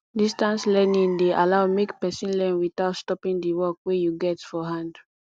distance learning de allow make persin learn without stoping di work wey you get for hand